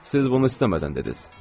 Siz bunu istəmədən dediz.